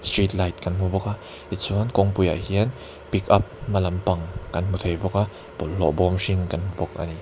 street light kan hmu bawk a tichuan kawngpuiah hian pickup hma lampang kan hmu thei bawk a bawlhhlawh bawm hring kan hmu bawk a ni.